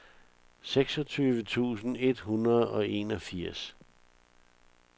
seksogtyve tusind et hundrede og enogfirs